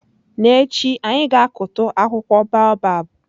N'echi, anyị ga-akụtu akwụkwọ baobab.